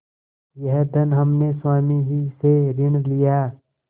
यह धन हमने स्वामी ही से ऋण लिया